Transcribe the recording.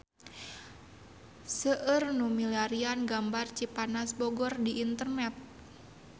Seueur nu milarian gambar Cipanas Bogor di internet